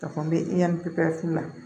A fɔ n bɛ yan pepewu